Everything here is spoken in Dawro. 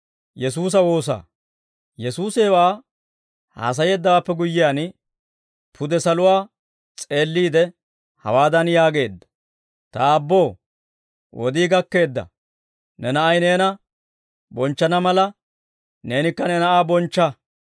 Yesuusi hewaa haasayeeddawaappe guyyiyaan, pude saluwaa s'eelliide, hawaadan yaageedda; «Ta Aabboo, wodii gakkeedda; ne Na'ay neena bonchchana mala, neenikka ne Na'aa bonchcha.